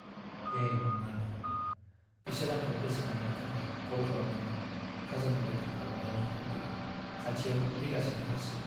ए नङानो! बिसोर आंखौ गोसोखांहोनो थाखाय कल खालामदोंमोन खाजोना दाखिल खालामनायनि अक्टआ खाथियाव फैगासिनोथारसै।